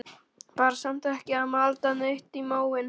Var samt ekki að malda neitt í móinn.